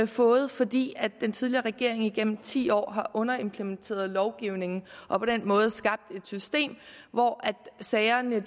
fået fordi den tidligere regering igennem ti år har underimplementeret lovgivningen og på den måde skabt et system hvor sagerne